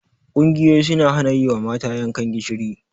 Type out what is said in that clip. Ƙungiyoyi suna hana yi wa mata yankan gishiri.